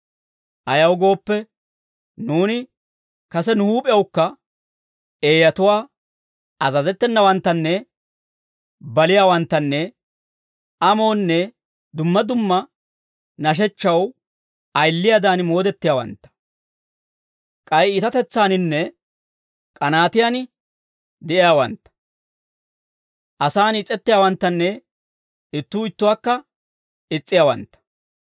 Ayaw gooppe, nuuni kase nu huup'ewukka eeyatuwaa, azazettenawantta, baliyaawanttanne amoonne dumma dumma nashechchaw ayiliyaadan moodettiyaawantta; k'ay iitatetsaaninne k'anaatiyaan de'iyaawantta; asaan is'ettiyaawanttanne ittuu ittuwaakka is's'iyaawantta.